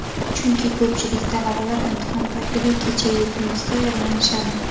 Chunki ko‘pchilik talabalar imtihon paytida kecha-yu kunduz tayyorlanishadi.